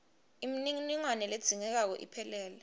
imininingwane ledzingekako iphelele